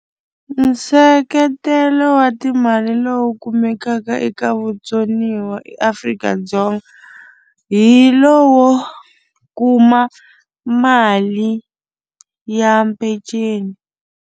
Nseketelo wa timali lowu kumekaka eka vutsoniwa eAfrika-Dzonga hi lowo kuma mali ya peceni.